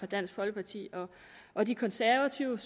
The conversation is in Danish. dansk folkeparti og de konservative